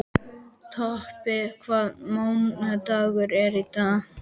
Tobbi, hvaða mánaðardagur er í dag?